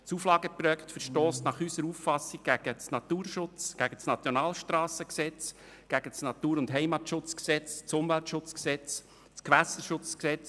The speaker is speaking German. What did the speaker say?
Das Auflageprojekt verstösst nach unserer Auffassung gegen das Naturschutz-, das Nationalstrassen- und das Natur- und Heimatschutzgesetz sowie gegen das Umweltschutz- und das Gewässerschutzgesetz.